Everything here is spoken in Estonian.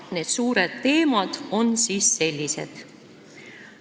Need suured teemad on siis sellised.